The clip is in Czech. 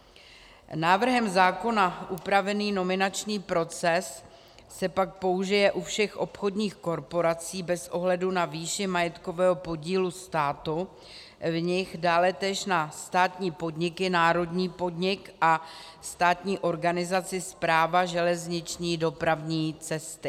Návrhem zákona upravený nominační proces se pak použije u všech obchodních korporací bez ohledu na výši majetkového podílu státu v nich, dále též na státní podniky, národní podnik a státní organizaci Správa železniční dopravní cesty.